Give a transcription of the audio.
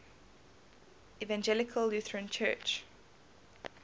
evangelical lutheran church